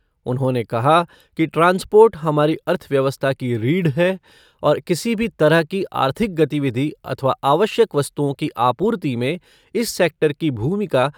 उन्होंने कहा कि ट्रांसपोर्ट हमारी अर्थव्यवस्था की रीढ़ है और किसी भी तरह की आर्थिक गतिविधि अथवा आवश्यक वस्तुओं की आपूर्ति में इस सैक्टर की भूमिका